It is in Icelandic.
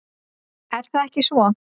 Er það ekki svo?